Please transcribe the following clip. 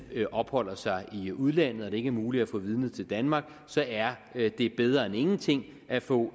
opholder sig i udlandet og det ikke er muligt at få vidnet til danmark så er det bedre end ingenting at få